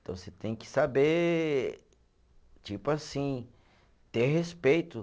Então você tem que saber, tipo assim, ter respeito.